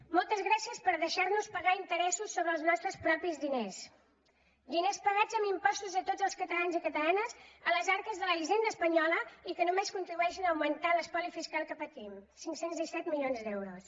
moltes gràcies per deixar nos pagar interessos sobre els nostres propis diners diners pagats amb impostos de tots els catalans i catalanes a les arques de la hisenda espanyola i que no només contribueixen a augmentar l’espoli fiscal que patim cinc cents i disset milions d’euros